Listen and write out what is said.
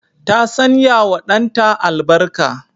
Ta sanyawa danta albarka.